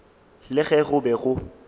le ge go be go